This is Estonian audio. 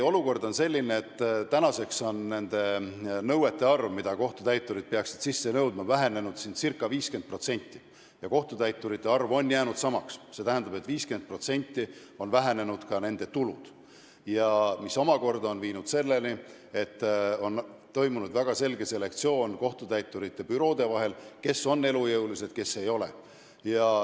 Olukord on selline, kus nende nõuete arv, mida kohtutäiturid peaksid sisse nõudma, on vähenenud ca 50%, aga kohtutäiturite arv on jäänud samaks, st 50% on vähenenud ka nende tulud, mis omakorda on viinud selleni, et on toimunud väga selge kohtutäiturite büroode selektsioon, et kes on elujõulised ja kes ei ole.